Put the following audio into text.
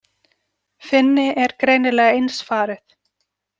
Finni er greinilega eins farið.